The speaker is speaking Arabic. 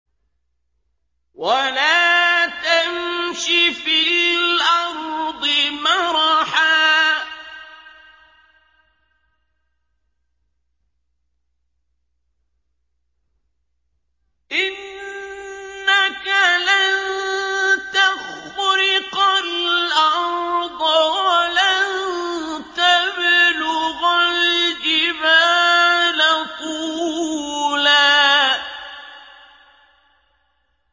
وَلَا تَمْشِ فِي الْأَرْضِ مَرَحًا ۖ إِنَّكَ لَن تَخْرِقَ الْأَرْضَ وَلَن تَبْلُغَ الْجِبَالَ طُولًا